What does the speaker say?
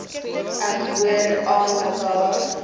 ek hoor aanmekaar